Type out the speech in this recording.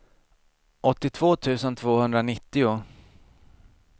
åttiotvå tusen tvåhundranittio